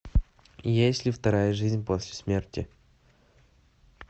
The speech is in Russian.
есть ли вторая жизнь после смерти